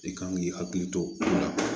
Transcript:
I kan k'i hakili to o la